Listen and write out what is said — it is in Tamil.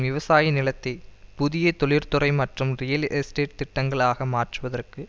விவசாய நிலத்தை புதிய தொழிற்துறை மற்றும் ரியல் எஸ்டேட் திட்டங்களாக மாற்றுவதற்கு